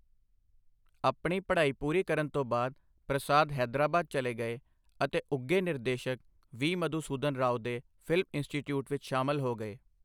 ਆਪਣੀ ਪੜ੍ਹਾਈ ਪੂਰੀ ਕਰਨ ਤੋਂ ਬਾਅਦ, ਪ੍ਰਸਾਦ ਹੈਦਰਾਬਾਦ ਚਲੇ ਗਏ ਅਤੇ ਉੱਘੇ ਨਿਰਦੇਸ਼ਕ ਵੀ. ਮਧੂਸੂਦਨ ਰਾਓ ਦੇ ਫਿਲਮ ਇੰਸਟੀਚਿਊਟ ਵਿੱਚ ਸ਼ਾਮਲ ਹੋ ਗਏ।